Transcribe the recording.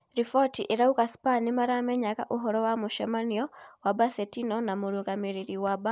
Riboti irauga Spa nĩ maramenyaga uhoro wa mũcemanio wa Bocetino na mûrũgamĩ rĩ ri wa Baka